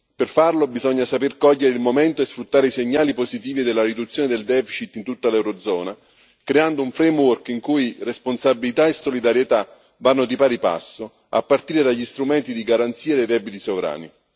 Per farlo bisogna saper cogliere il momento e sfruttare i segnali positivi della riduzione del deficit in tutta l'eurozona, creando un framework in cui responsabilità e solidarietà vanno di pari passo a partire dagli strumenti di garanzia dei debiti sovrani.